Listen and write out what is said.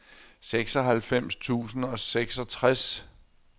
seksoghalvfems tusind og seksogtres